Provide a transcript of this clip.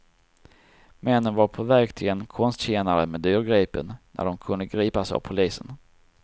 Männen var på väg till en konstkännare med dyrgripen när de kunde gripas av polisen.